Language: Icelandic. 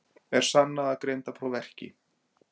Er sannað að greindarpróf verki?